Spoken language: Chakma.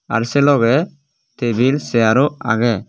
ar se logey tebil seyar oo agey.